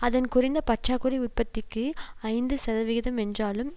அதன் குறைந்த பற்றாக்குறை உற்பத்திக்கு ஐந்து சதவிகிதம் என்றாலும்